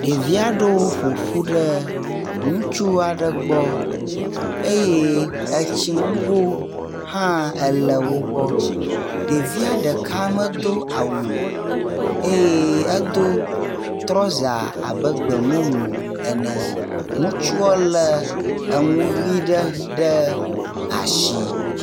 ɖeviaɖewo ƒoƒu ɖe ŋutsu aɖe gbɔ eye etsi ŋgo hã ele wógbɔ ɖevia ɖeka medó awu o eye edó trɔza abe gbemumu ene ŋutsuɔ le eŋuyi ɖe asi